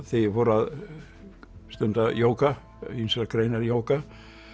þegar ég fór að stunda jóga ýmsar greinar jóga